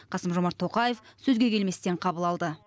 қасым жомарт тоқаев сөзге келместен қабыл алды